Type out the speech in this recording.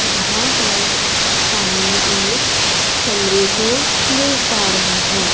यहां हम सामने एक कमरे को देख पा रहे हैं।